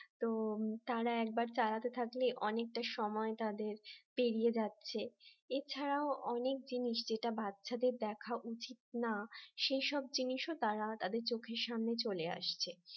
তো তারা একবার চালাতে থাকলে অনেকটা সময় তাদের পেরিয়ে যাচ্ছে এছাড়াও অনেক জিনিস যেটা বাচ্চাদের দেখা উচিত না সে সব জিনিসও তারা তাদের চোখের সামনে চলে আসছে